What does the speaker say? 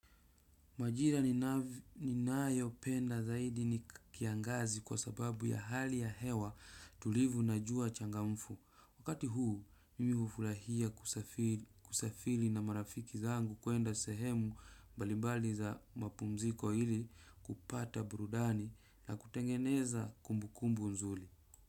Majira ni nayo penda zaidi ni kiangazi kwa sababu ya hali ya hewa tulivu na jua changamfu. Wakati huu mimi hufurahia kusafiri kusafili na marafiki zangu kuenda sehemu balibali za mapumziko ili kupata burudani na kutengeneza kumbukumbu nzuli.